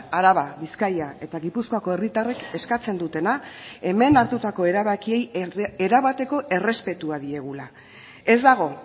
araba bizkaia eta gipuzkoako herritarrek eskatzen dutena hemen hartutako erabakiei erabateko errespetua diegula ez dago